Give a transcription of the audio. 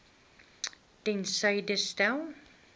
ter syde stel